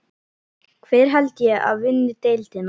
Hver held ég að vinni deildina?